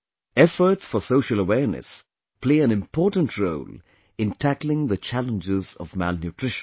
Efforts for social awareness play an important role in tackling the challenges of malnutrition